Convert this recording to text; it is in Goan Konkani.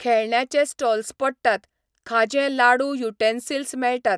खेळण्याचे स्टॉल्स पडटात, खाजें लाडू युटेन्सील्स मेळटात.